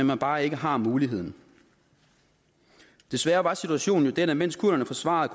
man bare ikke har muligheden desværre var situationen den at mens kurderne forsvarede